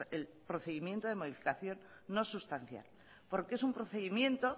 el procedimiento de modificación no sustancial porque es un procedimiento